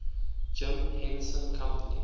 jim henson company